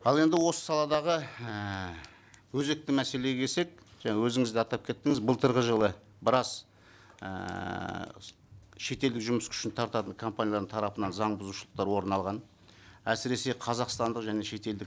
ал енді осы саладағы ііі өзекті мәселеге келсек жаңа өзіңіз де атап кеттіңіз былтырғы жылы біраз ііі шетелдік жұмыс күшін тартатын компаниялардың тарапынан заң бұзушылықтар орын алған әсіресе қазақстандық және шетелдік